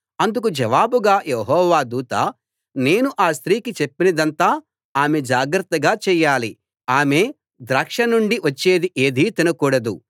అందుకు జవాబుగా యెహోవా దూత నేను ఆ స్త్రీకి చెప్పినదంతా ఆమె జాగ్రత్తగా చేయాలి ఆమె ద్రాక్ష నుండి వచ్చేది ఏదీ తినకూడదు